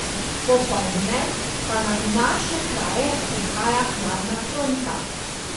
Popoldne pa nad naše kraje prihaja hladna fronta.